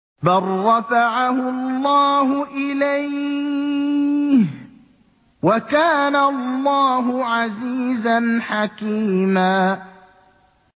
بَل رَّفَعَهُ اللَّهُ إِلَيْهِ ۚ وَكَانَ اللَّهُ عَزِيزًا حَكِيمًا